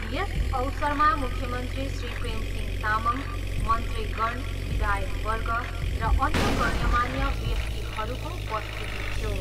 यस अवसरमा मुख्यमन्त्री श्री प्रेमसिंह तामङ, मन्त्रीगण, विधायकवर्ग र अन्य गण्यमान्य व्यक्तिहरूको उपस्थिति थियो।